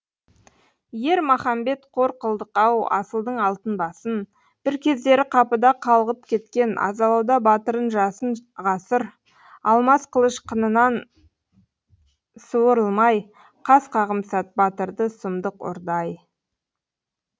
ер махамбет қор қылдық ау асылдың алтын басын бір кездері қапыда қалғып кеткен азалауда батырын жасын ғасыр алмас қылыш қынынан суырылмай қас қағым сәт батырды сұмдық ұрды ай